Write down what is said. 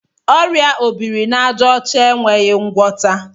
Ọrịa obirinaàjàọcha enweghị ngwọta.